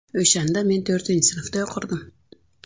O‘shanda men to‘rtinchi sinfda o‘qirdim.